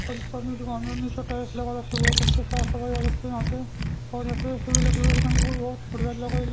सभी दुकानो ने नीचे टाइल्स लगा रखी है बहुत अच्छी टाइल्स लगा के रखे हैं यहां पे --